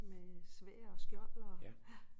Med sværd og skjold og